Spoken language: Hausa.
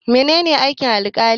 Mene ne aikin Alkali?